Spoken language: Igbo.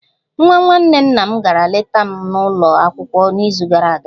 Nwa nwanne nna m gara leta m n'ụlọ akwụkwọ n'izu gara aga